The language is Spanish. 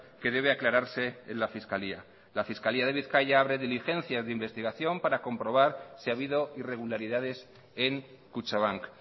que debe aclararse en la fiscalía la fiscalía de bizkaia abre diligencias de investigación para comprobar si ha habido irregularidades en kutxabank